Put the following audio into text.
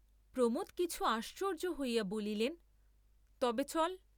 প্রমোদ কিছু আশ্চর্যা হইয়া বলিলেন তবে চল।